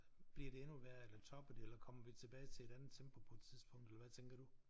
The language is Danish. Bliver det endnu værre eller topper det eller kommer vi tilbage til et andet tempo på et tidspunkt eller hvad tænker du